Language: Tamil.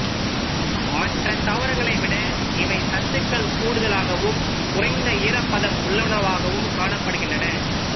மற்ற தாவரங்களை விட இவை சத்துக்கள் கூடுதலாகவும் குறைந்த ஈரப்பதம் உள்ளனவாகக் காணப்படுகின்றன